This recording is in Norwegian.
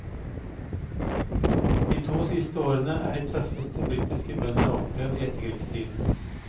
De to siste årene er de tøffeste britiske bønder har opplevd i etterkrigstiden.